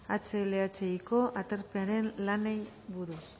hlhiko aterpearen lanei buruz